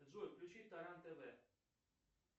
джой включи таран тв